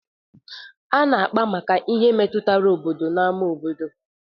A na-àkpá maka ihe ndị metụtara obodo na n'ámá obodo.